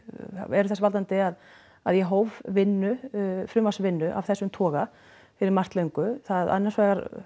eru þess valdandi að að ég hóf vinnu frumvarpsvinnu af þessum toga fyrir margt löngu annars vegar